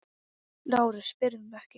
LÁRUS: Spyrðu mig ekki!